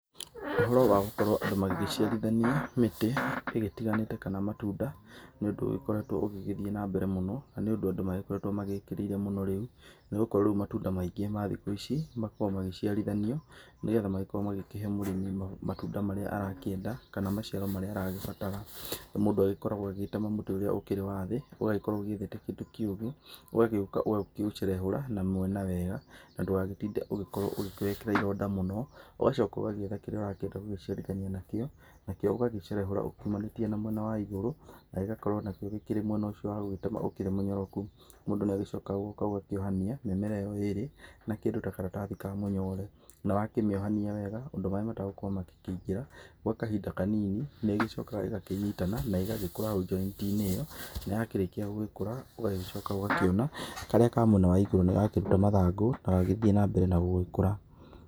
Ũhoro wa gũkorwo andũ magĩciarithania mĩtĩ ĩgĩtiganĩte kana matunda nĩ ũndũ ũgĩkoretwo ũgĩgĩthiĩ nambere mũno na nĩ ũndũ andũ magĩkoretwo magĩkĩrĩire mũno rĩu nĩ gũkorwo rĩu matunda maingĩ ma thikũ ici makoragwo magĩciarithanio nĩgetha magĩkorwo magĩkĩhe mũrĩmi matunda marĩa arakĩenda kana maciaro marĩa aragĩbatara. Mũndũ agĩkoragwo agĩgĩtema mũtĩ ũrĩa ũkĩrĩ wa thĩ ũgagĩkorwo ũgĩethete kĩndũ kĩũgĩ, ũgagĩũka ũgacerehũra na mwena wega na ndũgagĩtinde ũgĩkorwo ũkĩwĩkĩra ĩronda mũno, ũgacoka ũgagĩetha kĩrĩa ũrakĩenda gũgĩciarithania nakĩo nakĩo ũgagĩcerehũra ũmanĩtie na mwena wa igũrũ na gĩgagĩkorwo nakĩo gĩkĩrĩ mwena ũcio wa gũgĩtema ũkĩrĩ mũnyoroku. Mũndũ nĩ agĩcokaga ũgagĩũka ũgakĩohania mĩmera ĩyo ĩrĩ na kĩndũ ta karatathi ma mũnyore. Na wakĩmĩohania wega ũndũ maĩ mategũkorwo makĩongĩra gwa kahinda kanini nĩ ĩgĩcokaga ĩgakĩnyitana na ĩgagĩkũra hau njoitinĩ ĩyo na ũgakorwo ciarĩkia gũgĩkũra ũgakĩona karĩa ka mwena wa igũrũ nĩ gakĩruta mathangũ na gathĩĩ nambere na gũgĩkũra.